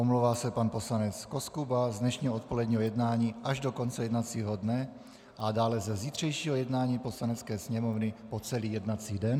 Omlouvá se pan poslanec Koskuba z dnešního odpoledního jednání až do konce jednacího dne a dále ze zítřejšího jednání Poslanecké sněmovny po celý jednací den.